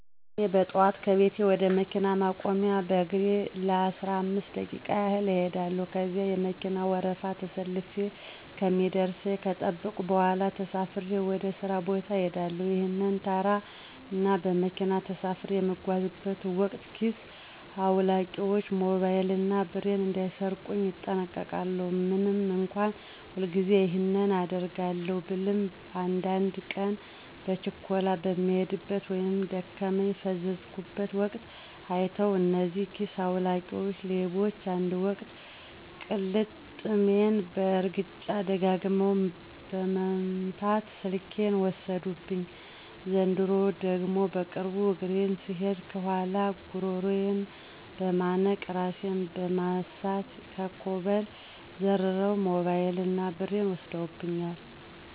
እኔ በጠዋት ከቤቴ ወደ መኪና ማቆሚያ በእግሬ ለአስራአምስት ደቂቃ ያህል እኸዳለው። ከዚያ የመከና ወረፋ ተሰልፌ እስከሚደርሰኝ ከጠበኩ በኋላ ተሳፍሬ ወደ ሥራ ቦታ እሄዳለሁ። ይህንን ተራ እና በመኪና ተሳፍሬ በምጓዝበት ወቅት ኪስ አዉላቂዎች ሞባይል እና ብሬን እንዳይሰርቁኝ እጠነቀቃለው። ምንም እንኳ ሁልጊዜ ይህንን አደርጋለው ብልም አንዳድ ቀን በችኮላ በምሄድበት ወይም ደክሞኝ በፈዘዝኩበት ወቅት አይተዉ እነዚህ ኪሰ አዉላቂ ሌቦች አንድ ወቅት ቅልጥሜን በእርግጫ ደጋግመው በመምት ስልኬን ወሰዱብኝ፤ ዘንድሮ ደግሞ በቅርቡ በእግሬ ስሄድ ከኋላየ ጉረሮየን በመነቅ እራሴን በማሳት ከኮብል ዘርረዉ ሞበይል እና ብሬን ወስደውብኛል።